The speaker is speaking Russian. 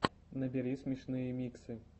набери смешные миксы